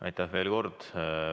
Aitäh veel kord!